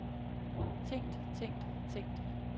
tænkt tænkt tænkt